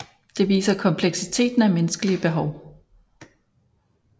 Det viser kompleksiteten af menneskelige behov